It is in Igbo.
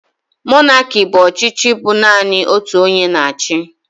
Monaki bụ ọchịchị bụ naanị otu onye na achị.